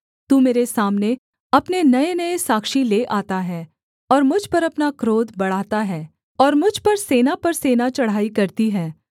तू मेरे सामने अपने नयेनये साक्षी ले आता है और मुझ पर अपना क्रोध बढ़ाता है और मुझ पर सेना पर सेना चढ़ाई करती है